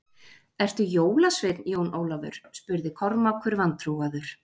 Ertu jólasveinn, Jón Ólafur spurði Kormákur vantrúaður.